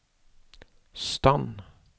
stand